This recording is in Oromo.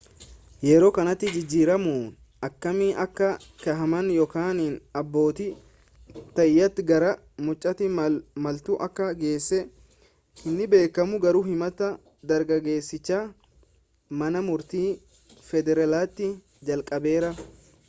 yeroo kanatti jijjiiramoonni akkamii akka kaahaman yookaan abbootii taayitaa gara mucaatti maaltu akka geesse hin beekamu garuu himati dargaggeessichaa mana murtii federaalaati jalqabeera